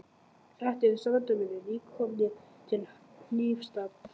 Þetta eru strandverðir, nýkomnir til Hnífsdals.